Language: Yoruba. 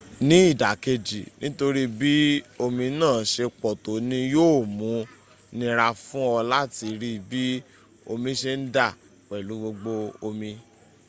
ní ìdàkejì nítorí bí omi náà se pọ̀tọ́ ní yóò mun nira fún ọ láti rí bí omi se ń dà—pẹ̀lú gbogbo omi